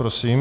Prosím.